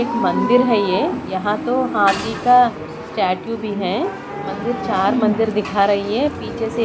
एक मंदिर है ये यहां तो हाथी का स्टेचू भी है मंदिर चार मंदिर दिखा रही हैं पीछे से--